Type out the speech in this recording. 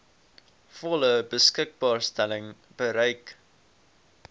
volle beskikbaarstelling bereik